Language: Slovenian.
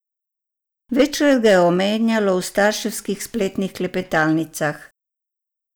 Večkrat ga omenjajo v starševskih spletnih klepetalnicah.